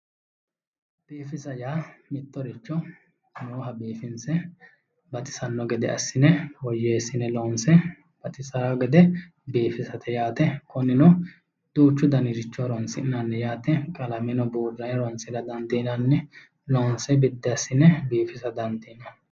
Biifisa yaa mittoricho nooha biifinse baxisano gede assine woyyeesine loonse baxisano gede biifisate yaate, kunino duuchu danni horonsi'nanni yaate qalameno buuranni horonsira dandiinanni, loonse biddi assine biifissa dandiinanni.